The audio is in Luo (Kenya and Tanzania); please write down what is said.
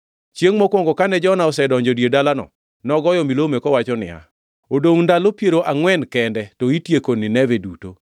Chiengʼ mokwongo kane Jona osedonjo e dier dalano, nogoyo milome kowacho niya, “Odongʼ ndalo piero angʼwen kende to itieko Nineve duto.”